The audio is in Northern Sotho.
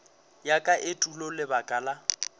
ya ka etulo lebaka la